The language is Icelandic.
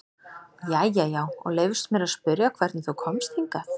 Jæja já, og leyfist mér að spyrja hvernig þú komst hingað?